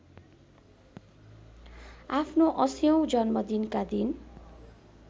आफ्नो ८० औं जन्मदिनका दिन